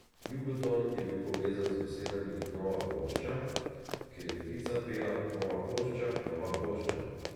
Jugoton je bil povezan z besedami nova plošča, ker je ptica pela nova plošča, nova plošča.